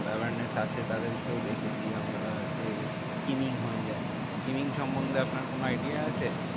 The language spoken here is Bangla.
Awareness আছে তাদের কেও দেখেছি আমরা যে skinning হয়ে যায়। skinning সমন্ধে আপনার কোনো idea আছে?